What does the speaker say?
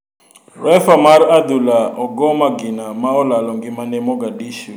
Refa mar adhula ogoo magina ma olalo ngimane Moghadishu ,Somalia.